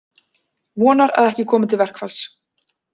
Vonar að ekki komi til verkfalls